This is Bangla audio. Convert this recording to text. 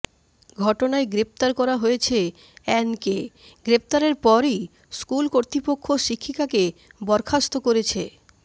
ঘটনায় গ্রেফতার করা হয়েছে অ্যানকে গ্রেফতারের পরই স্কুল কর্তৃপক্ষ শিক্ষিকাকে বরখাস্ত করেছে